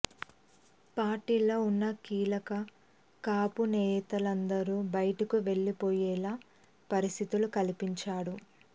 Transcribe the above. పార్టీలో ఉన్న కీలక కాపు నేతలందరూ బయటకు వెళ్లిపోయేలా పరిస్థితులు కల్పించాడు